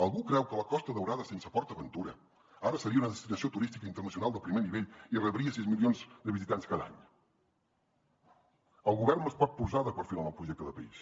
algú creu que la costa daurada sense port aventura ara seria una destinació turística internacional de primer nivell i rebria sis milions de visitants cada any el govern no es pot posar de perfil amb el projecte de país